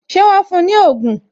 Ṣé wọn fún ní ogún?